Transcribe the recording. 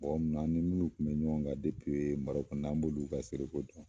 Mɔgɔ min ani minnu kun be ɲɔgɔn kan depii marɔku fana an b'olu ka seereko dɔn